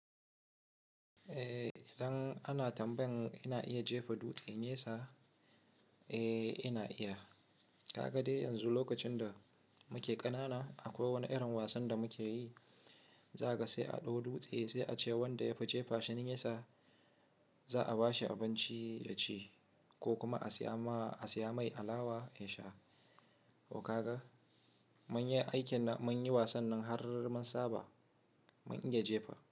Eh idan ana tambayan ina iya jefa dutse nesa, eh ina iya. Ka ga dai yanzu lokacin da muke ƙanana akwai wani irin wasan da muke yi. Za kaga sai a ɗau dutse sai a ce wanda yafi cefa shi nesa. Za a bashi abinci ya ci ko kuma a siya ma, a siya mai alawa ya sha. Ko ka ga? Mun yi aikin nan, mun yi wasan nan har mun saba. Mun iya jefa.